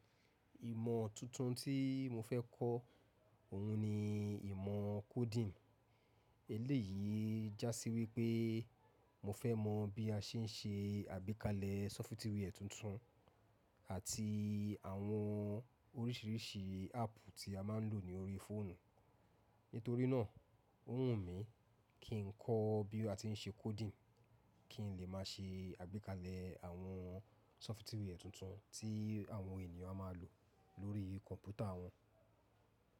Ìmọ̀ tuntun tí mo fẹ́ kọ́ òun ni ìmọ̀ coding. Eléyìí já sí wípé mo fẹ́ mọ bí a ṣe ń ṣe àgbékalẹ̀ software tuntun àti àwọn oríṣiríṣi apu tí a máa ń lò ní orí fóònù. Nítorí náà, ó wù mí kí n kọ́ bí a ti ń ṣe coding kí n lè máa ṣe àgbékalẹ̀ àwọn software tuntun tí àwọn ènìyàn a máa lò lórí kọ̀npútà wọn.